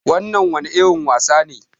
Wannan wani irin wasa ne?